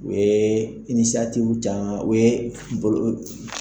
U ye u ye bolo